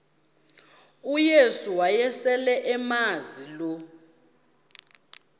uyesu wayeselemazi lo